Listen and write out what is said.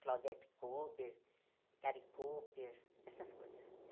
Claudette Kober, Gary Koper, essas coisas.